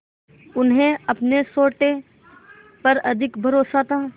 उन्हें अपने सोटे पर अधिक भरोसा था